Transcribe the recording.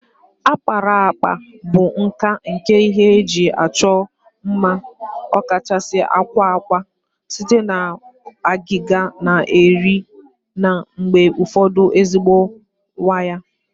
Akparaakpa bụ nka nke ihe eji achọ mma, ọkachasị akwa akwa, site na agịga na eri na mgbe ụfọdụ ezigbo waya